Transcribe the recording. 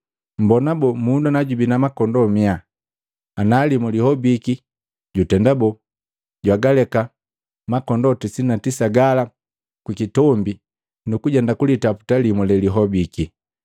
“Mmbona boo? Mundu na jubi na makondoo makomi komi, ana limu lihobiki jutenda boo? Jwagaleka makondoo tisini na tisa gala kukitombi, nukujenda kulitaputa limu lelihobiki.